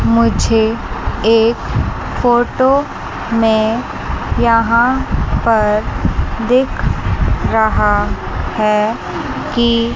मुझे एक फोटो में यहां पर दिख रहा हैं कि--